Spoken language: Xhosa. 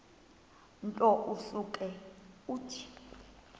nto usuke uthi